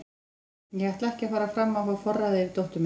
Ég ætla ekki að fara fram á að fá forræðið yfir dóttur minni.